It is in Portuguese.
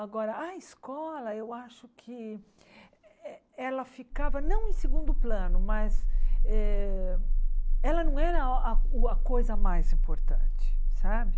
Agora, a escola, eu acho que ela ficava não em segundo plano, mas eh ela não era a coisa mais importante, sabe?